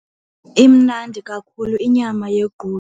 Imnandi kakhulu inyama yequdu.